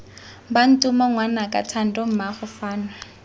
bantomo ngwanaka thando mmaago fano